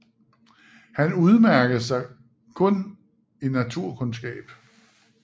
Han udmærkede sig kun i naturkundskab